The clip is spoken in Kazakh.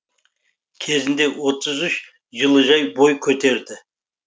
кезінде отыз үш жылыжай бой көтерді